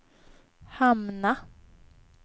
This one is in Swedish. hamna